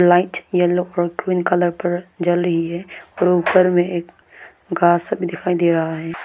Light yellow और green colour पर जल रही है और ऊपर में एक घास सब भी दिखाई दे रहा है।